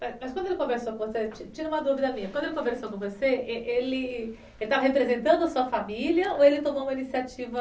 Mas quando ele conversou com você, tira uma dúvida minha, quando ele conversou com você, ele estava representando a sua família ou ele tomou uma iniciativa...